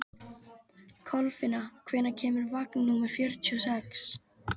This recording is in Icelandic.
Kolfinna, hvenær kemur vagn númer fjörutíu og sex?